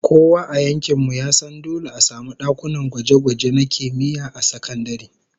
Kowa a yankin mu ya san dole a samu dakunan gwaje-gwaje na kimiyya a sakandare